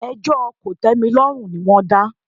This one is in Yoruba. Ẹjọ́ kòtẹ́milọ́rùn ni wọ́n dá.